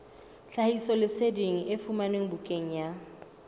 tlhahisoleseding e fumanwe bukaneng ya